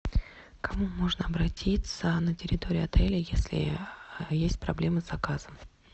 к кому можно обратиться на территории отеля если есть проблемы с заказом